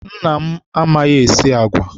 Nna m amaghị-esi agwa.